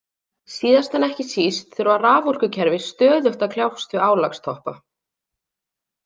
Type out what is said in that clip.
Síðast en ekki síst þurfa raforkukerfi stöðugt að kljást við álagstoppa.